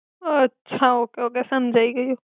અછા okay okay સમજાઇ ગ્યુ.